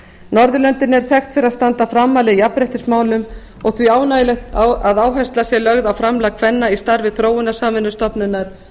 norðurlöndin eru þekkt fyrir að standa framarlega í jafnréttismálum og því ánægjulegt að áhersla sé lögð á framlag kvenna í starfi þróunarsamvinnustofnunar